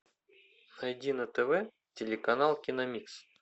найди на тв телеканал киномикс